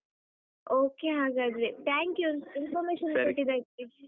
Okay ಹಾಗಾದ್ರೆ thank you information ಕೊಟ್ಟಿದ್ದಕ್ಕೆ.